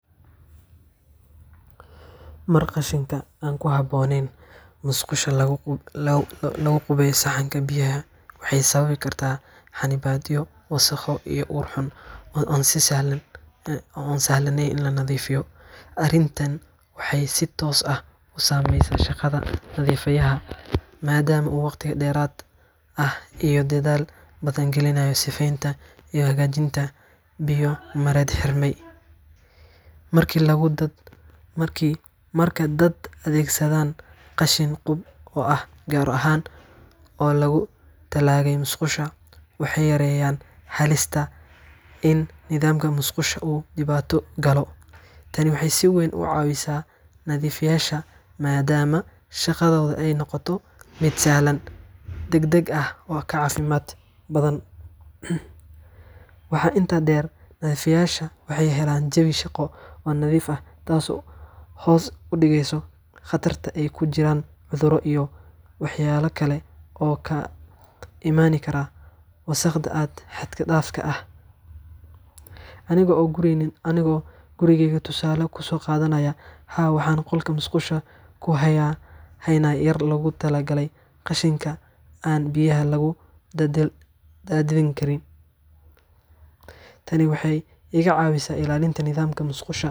Marka qashinka aan ku habboonayn musqusha lagu qubeeyo saxanka biyaha, waxay sababi kartaa xannibaadyo, wasakhow, iyo ur xun oo aan sahlaneyn in la nadiifiyo. Arrintan waxay si toos ah u saameysaa shaqada nadiifiyaha, maadaama uu waqti dheeraad ah iyo dadaal badan gelinayo sifeynta iyo hagaajinta biyo-mareenada xirmay. Marka dadku adeegsadaan qashin qub ah oo gaar ah oo loogu talagalay musqusha, waxay yareynayaan halista in nidaamka musqusha uu dhibaato galo. Tani waxay si weyn u caawisaa nadiifiyeyaasha, maadaama shaqadooda ay noqoto mid sahlan, degdeg ah, oo ka caafimaad badan. Waxaa intaa dheer, nadiifiyeyaasha waxay helaan jawi shaqo oo nadiif ah, taasoo hoos u dhigta khatarta ay ugu jiraan cudurro iyo waxyeelo kale oo ka imaan kara wasakhda xad-dhaafka ah. Aniga oo gurigeyga tusaale u soo qaadanaya, haa, waxaan qolka musqusha ku hayaa haan yar oo loogu talagalay qashinka aan biyaha lagu daadin karin. Tani waxay iga caawisaa ilaalinta nidaamka musqusha.